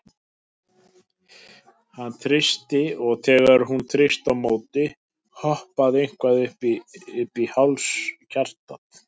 Hann þrýsti, og þegar hún þrýsti á móti, hoppaði eitthvað upp í háls hjartað?